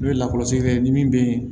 N'o ye lakɔlɔsira ye ni min bɛ ye